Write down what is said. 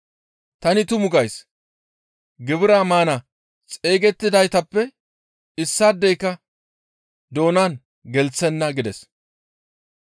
Tani tuma gays; gibiraa maana xeygettidaytappe issaadeyka doonan gelththenna› » gides.